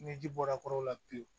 Ni ji bɔra kɔrɔ la pewu